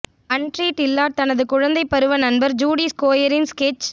அன்ரி Dillard தனது குழந்தைப் பருவ நண்பர் ஜூடி ஸ்கோயரின் ஸ்கெட்ச்